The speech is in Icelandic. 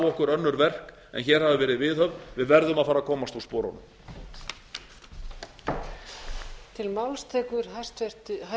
okkur önnur verk en hér hafa verið viðhöfð við verðum að fara að komast úr sporunum